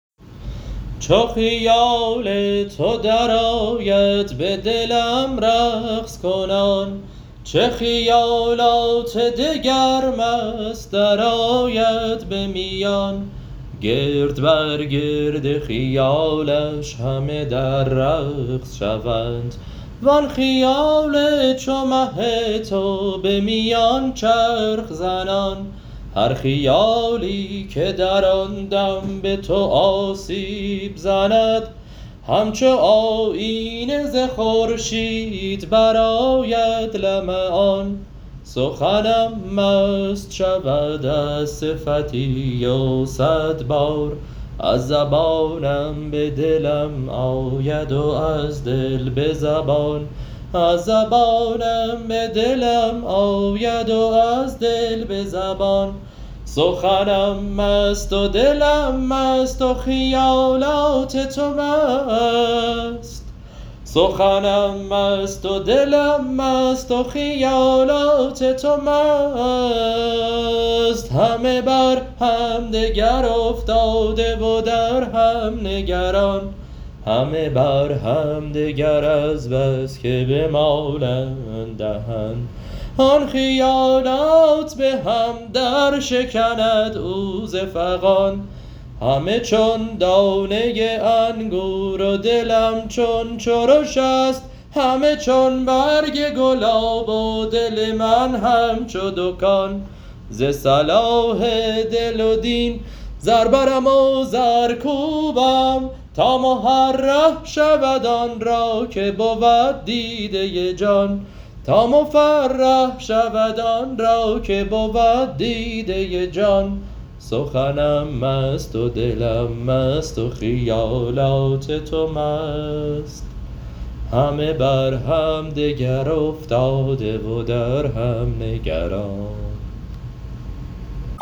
چون خیال تو درآید به دلم رقص کنان چه خیالات دگر مست درآید به میان گرد بر گرد خیالش همه در رقص شوند وان خیال چو مه تو به میان چرخ زنان هر خیالی که در آن دم به تو آسیب زند همچو آیینه ز خورشید برآید لمعان سخنم مست شود از صفتی و صد بار از زبانم به دلم آید و از دل به زبان سخنم مست و دلم مست و خیالات تو مست همه بر همدگر افتاده و در هم نگران همه بر همدگر از بس که بمالند دهن آن خیالات به هم درشکند او ز فغان همه چون دانه انگور و دلم چون چرش است همه چون برگ گلاب و دل من همچو دکان ز صلاح دل و دین زر برم و زر کوبم تا مفرح شود آن را که بود دیده جان